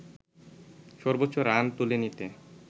সর্বোচ্চ রান তুলে নিতে